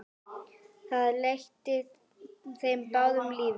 Það létti þeim báðum lífið.